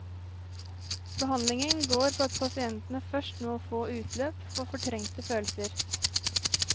Behandlingen går på at pasientene først må få utløp for fortrengte følelser.